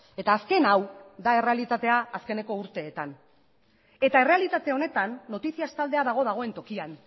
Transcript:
eta azken hau da errealitatea azkeneko urteetan eta errealitate honetan noticias taldea dago dagoen tokian